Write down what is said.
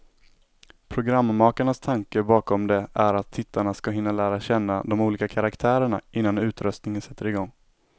Programmakarnas tanke bakom det är att tittarna ska hinna lära känna de olika karaktärerna, innan utröstningen sätter igång.